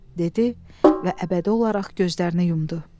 dedi və əbədi olaraq gözlərini yumdu.